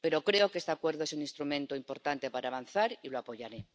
Pero creo que este acuerdo es un instrumento importante para avanzar y lo apoyaré.